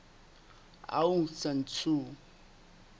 aung san suu